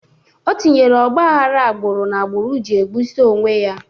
Ọ tinyere ogbahara agbụrụ na agbụrụ ji egbusisi onwe ya